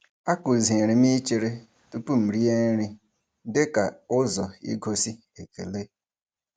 A kụziri m ichere tụpụ m rie nri dịka ụzọ igosi ekele.